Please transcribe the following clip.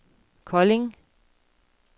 Kolding